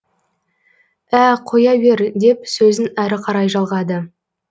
ә қоя бер деп сөзін әрі қарай жалғады